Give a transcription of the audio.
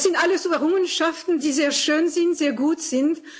Das sind alles Errungenschaften, die sehr schön sind, sehr gut sind.